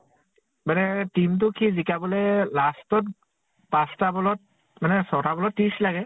মানে team টোক সি জিকাবলে last ত পাঁছ টা ball ত মানে ছ্টা ball ত্ৰিছ লাগে